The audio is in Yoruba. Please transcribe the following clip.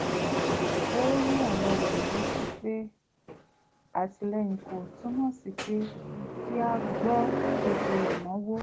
ó rán ọ̀rẹ́ rẹ̀ létí pé àtìlẹ́yìn kò túmọ̀ sí pé kí a gbọ́ gbogbo ìnáwó